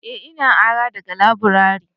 eh na ara daga laburare